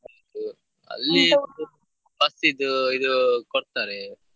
ಹೌದು bus ಇದ್ದು ಇದು ಕೊಡ್ತಾರೆ.